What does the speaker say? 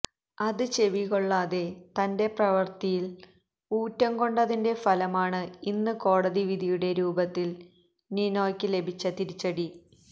അത് ചെവികൊള്ളാതെ തന്റെ പ്രവര്ത്തിയില് ഊറ്റം കൊണ്ടതിന്റെ ഫലമാണ് ഇന്ന് കോടതി വിധിയുടെ രൂപത്തില് നിനോയ്ക്ക് ലഭിച്ച തിരിച്ചടി